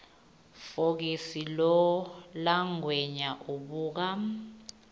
fokisi langwenya ubuka